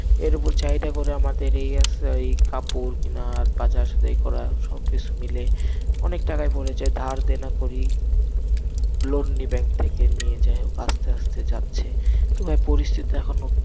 এর উপর চাহিদা করে আমাদের এই আসে, ওই কাপড় কেনা আর করা, সব কিছু মিলে অনেক টাকা পরে যায়, ধার দেনা করি, loan নি bank থেকে, নিয়ে যাই হোক আসতে আসতে যাচ্ছে, তো ভাই পরিস্থিতি এখনো,